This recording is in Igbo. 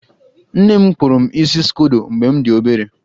Nne m kpụrụ m isi skodo mgbe m dị obere.